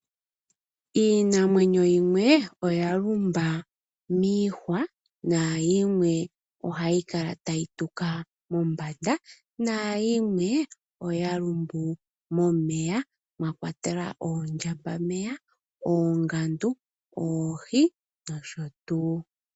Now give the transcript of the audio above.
Iinamweno yimwe oyalumba miihwa, naayimwe ohayikala tayi tuka mombanda, naayimwe oyalumbu momeya mwakwatelwa oondjambameya, oongandu, oohi nosho tuu.